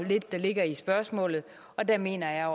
der ligger i spørgsmålet og der mener jeg